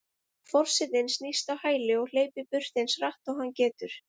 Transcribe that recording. Forsetinn snýst á hæli og hleypur burt eins hratt og hann getur.